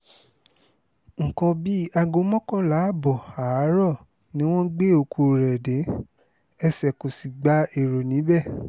nǹkan bíi aago mọ́kànlá ààbọ̀ àárọ̀ ni wọ́n gbé òkú rẹ̀ dé ẹsẹ̀ kó sì gba èrò níbẹ̀